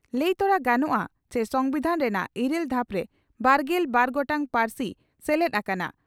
ᱞᱟᱹᱭ ᱛᱚᱨᱟ ᱜᱟᱱᱚᱜᱼᱟ ᱪᱤ ᱥᱚᱢᱵᱤᱫᱷᱟᱱ ᱨᱮᱱᱟᱜ ᱤᱨᱟᱹᱞ ᱫᱷᱟᱯ ᱨᱮ ᱵᱟᱨᱜᱮᱞ ᱵᱟᱨ ᱜᱚᱴᱟᱝ ᱯᱟᱹᱨᱥᱤ ᱥᱮᱞᱮᱫ ᱟᱠᱟᱱᱟ ᱾